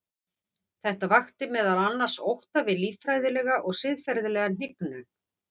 Þetta vakti meðal annars ótta við líffræðilega og siðferðilega hnignun.